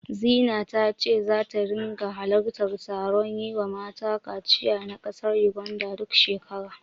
Zina ta ce zata ringa halartar taron yiwa mata kaciya na ƙasar Yuganda, duk shekara.